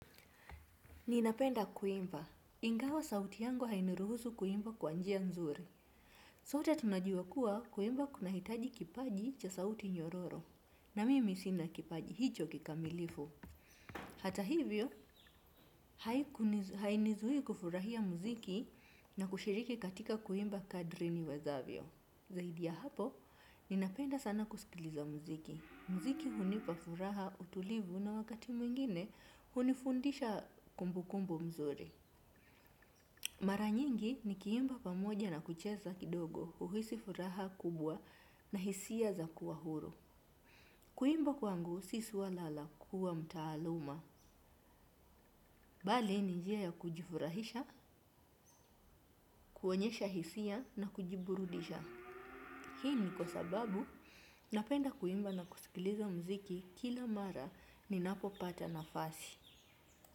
Ninapenda kuimba. Ingawa sauti yangu hainiruhusu kuimba kwa njia nzuri. Sote tunajua kuwa kuimba kunahitaji kipaji cha sauti nyororo. Na mimi sina kipaji, hicho kikamilifu. Hata hivyo, hainizuii kufurahia muziki na kushiriki katika kuimba kadri niwezavyo. Zaidi ya hapo, ninapenda sana kusikiliza muziki. Muziki hunipa furaha utulivu na wakati mwingine hunifundisha kumbukumbu mzuri. Mara nyingi nikiimba pamoja na kucheza kidogo huhisi furaha kubwa na hisia za kuwa huru. Kuimba kwangu si swala la kuwa mtaaluma. Bali ni njia ya kujifurahisha, kuonyesha hisia na kujiburudisha. Hii ni kwa sababu napenda kuimba na kusikiliza muziki kila mara ninapopata nafasi.